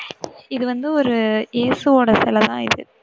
இது வந்து ஒரு ஏசுவோட சிலை தான் இது.